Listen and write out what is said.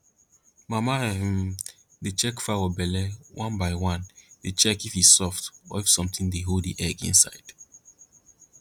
mama um dey check fowl belle one by one dey check if e soft or if something dey hold the egg inside